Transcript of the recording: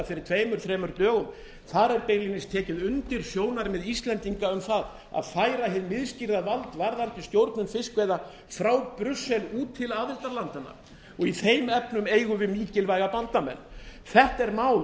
fyrir tveimur þremur dögum þar er beinlínis tekið undir sjónarmið íslendinga um það að færa hið miðstýrða vald varðandi stjórn fiskveiða frá brussel út til aðildarlandanna og í þeim efnum eigum við mikilvæga bandamenn þetta er mál